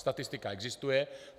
Statistika existuje.